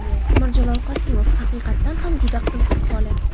Mirjalol Qosimov: Haqiqatan ham juda qiziq holat.